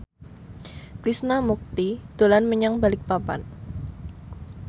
Krishna Mukti dolan menyang Balikpapan